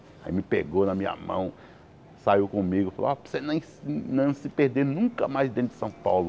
Aí me pegou na minha mão, saiu comigo, falou ó para você nem se não se perder nunca mais dentro de São Paulo.